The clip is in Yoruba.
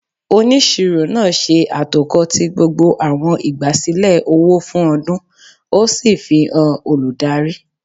Oniṣiro náá ṣe atokọ ti gbógbó awọn igbasilẹ ọwọ fún ọdun, o sí fihán olùdarí